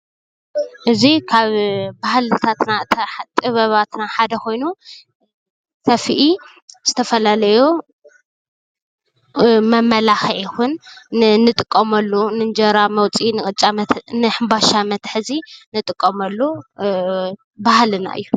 እዚ ካብ ባህልታትና ጥበባታትና ሓደ ኾይኑ ሰፍኢ ዝተፈላለዩ መመላክዒ ይኹን ንእንጥቀመሉ ንእንጀራ መውፅኢ ንቅጫ መተ ንሕንባሻ መትሐዚ እንጥቀመሉ ባህልና እዩ።